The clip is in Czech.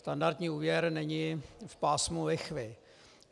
Standardní úvěr není v pásmu lichvy.